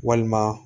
Walima